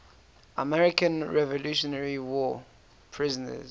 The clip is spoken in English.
american revolutionary war prisoners